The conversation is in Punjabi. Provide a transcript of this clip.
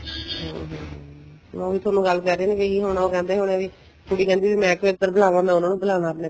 ਹਮ ਹਮ ਮੈਂ ਉਹੀ ਤੁਹਾਨੂੰ ਗੱਲ ਕਰ ਰਹੀ ਸੀ ਇਹੀ ਹੋਣਾ ਉਹ ਕਹਿੰਦੇ ਹੋਣੇ ਵੀ ਕੁੜੀ ਕਹਿੰਦੀ ਹੋਣੀ ਮੈਂ ਕਿਉ ਇੱਧਰ ਬੁਲਾਵਾ ਮੈਂ ਉਹਨਾ ਨੂੰ ਬੂਲਾ ਆਪਣੇ